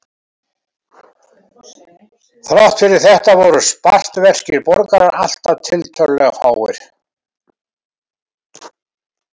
Þrátt fyrir þetta voru spartverskir borgarar alltaf tiltölulega fáir.